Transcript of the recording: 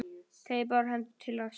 Teygir báðar hendur til hans.